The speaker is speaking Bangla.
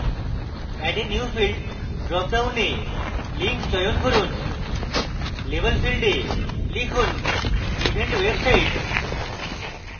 add a new field dropডাউনে link চয়ন করুন label field a লিখুন event website